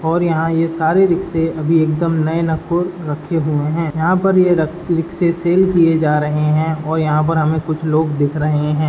और यहाँ ये सारे रिक्शे अभी एकदम नये नक्कुर रखे हुए है। यहाँ पर ये रक रिक्शे सेल किये जा रहे है और यहाँ पर हमें कुछ लोग दिख रहे हैं।